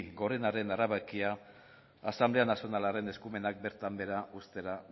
gorenaren erabakia asanblea nazionalaren eskumenak bertan behera uztera